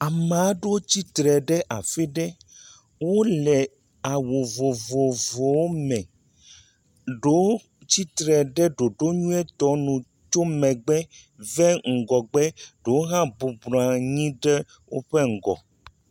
Ame aɖewo tsitre ɖe afi ɖe. Wòle awu vovovowo me. Ɖewo tsitre ɖe ɖoɖo nyuitɔ nu tso megbe va ŋgɔgbe. Ɖewo hã bɔbɔ nɔ anyi ɖe woƒe ŋgɔ.